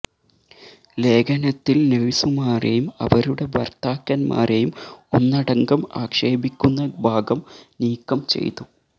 ലേഖനത്തില് നേഴ്സുമാരെയും അവരുടെ ഭര്ത്താക്കന്മാരെയും ഒന്നടങ്കം ആക്ഷേപിക്കുന്ന ഭാഗം നീക്കം ചെയ്തു